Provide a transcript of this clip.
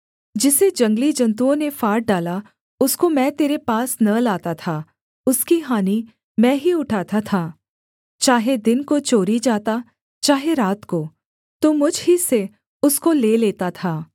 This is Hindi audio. जिसे जंगली जन्तुओं ने फाड़ डाला उसको मैं तेरे पास न लाता था उसकी हानि मैं ही उठाता था चाहे दिन को चोरी जाता चाहे रात को तू मुझ ही से उसको ले लेता था